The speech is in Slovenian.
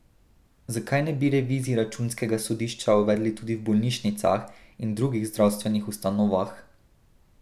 Zakaj ne bi revizij računskega sodišča uvedli tudi v bolnišnicah in drugih zdravstvenih ustanovah?